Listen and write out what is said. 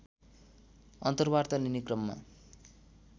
अन्तर्वार्ता लिने क्रममा